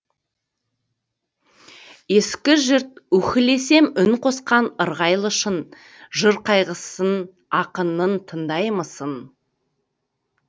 ескіжұрт үһілесем үн қосқан ырғайлы шың жыр қайғысын ақынның тыңдаймысың